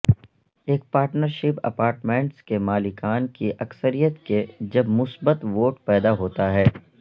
ایک partnership apartments کے مالکان کی اکثریت کے جب مثبت ووٹ پیدا ہوتا ہے